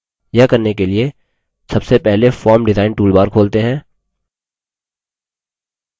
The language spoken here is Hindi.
यह करने के लिए सबसे पहले form design toolbar खोलते हैं